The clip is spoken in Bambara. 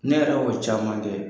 Ne yɛrɛ y'o caman kɛ.